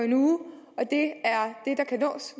en uge og det